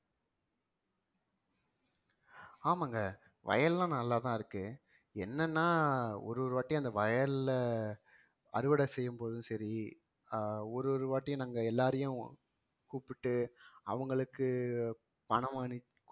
ஆமாங்க வயல்லாம் நல்லா தான் இருக்கு என்னன்னா ஒரு ஒரு வாட்டியும் அந்த வயல்ல அறுவடை செய்யும்போதும் சரி ஆஹ் ஒரு ஒரு வாட்டியும் நாங்க எல்லாரையும் கூப்பிட்டு அவங்களுக்கு பணம் அனுப்~